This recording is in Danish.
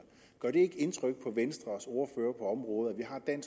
gør det ikke indtryk på venstres ordfører på området